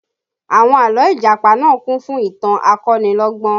Àwọn àlọ́ Ìjàpá náà kún fún ìtàn akonilọ́gbọ́n